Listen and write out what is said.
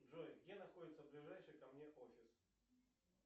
джой где находится ближайший ко мне офис